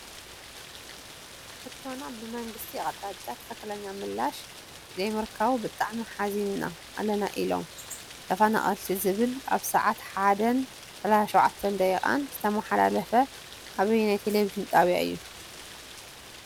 ሕቶና ብመንግስቲ ኣቅጣጫ ትክክለኛ ምላሽ ዘይምርካቡ ብጣዕሚ ሓዝና ኣለና ኢሎም ተፈናቀልቲ ዝብል ኣብ ስዓት 1:37 ዝተመሓለለፈ ኣበየናይ ቴሌቭን ጣብያ እዩ?